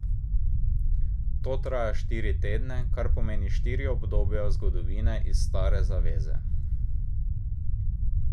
To traja štiri tedne, kar pomeni štiri obdobja zgodovine iz Stare zaveze.